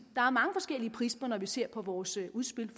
der er mange forskellige prismer når vi ser på vores udspil